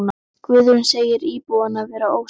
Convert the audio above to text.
Guðrún segir íbúana vera ósátta.